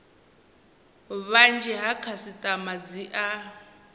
vhunzhi ha khasitama dzi a